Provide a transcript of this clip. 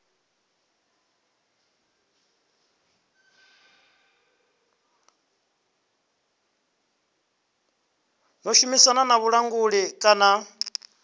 ḓo shumisana na vhulanguli kana